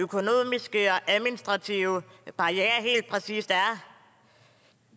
det er administrative barrierer helt præcis er